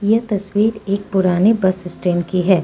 यह तस्वीर एक पुरानी बस स्टैंड की है।